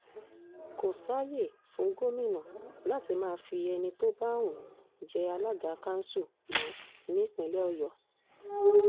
kò sáàyè fún gómìnà láti máa fi ẹni tó bá wù ú jẹ́ alága kanṣu mọ́ ní ìpínlẹ̀ ọ̀yọ́